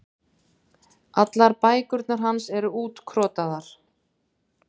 Allar bækurnar hans eru útkrotaðar.